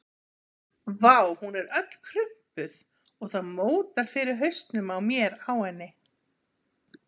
Vá, hún er öll krumpuð og það mótar fyrir hausnum á mér á henni.